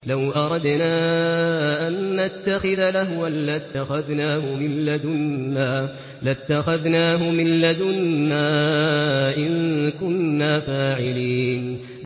لَوْ أَرَدْنَا أَن نَّتَّخِذَ لَهْوًا لَّاتَّخَذْنَاهُ مِن لَّدُنَّا إِن كُنَّا فَاعِلِينَ